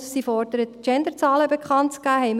Und sie fordert, die Genderzahlen bekannt zu geben.